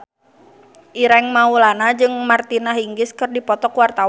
Ireng Maulana jeung Martina Hingis keur dipoto ku wartawan